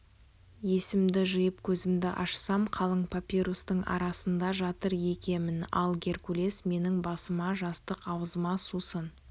есімді жиып көзімді ашсам қалың папирустың арасында жатыр екемін ал геркулес менің басыма жастық аузыма сусын